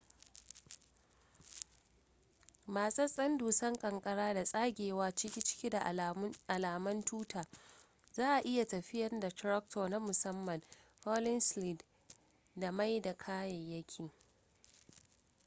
matsatsen dusan kankara da tsagewa cike ciki da alaman tuta za a iya tafiyan da tractors na musamman hauling sleds da mai da kayayyaki